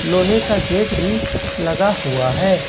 लोहे का गेट भी लगा हुआ है।